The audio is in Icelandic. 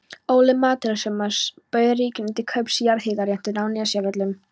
Óli Metúsalemsson bauð ríkinu til kaups jarðhitaréttindi á Nesjavöllum.